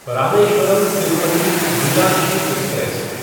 Rameswaram Tirupati Meenakshi express